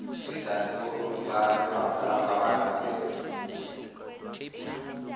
dikantorong tsa lefapha la pabalesego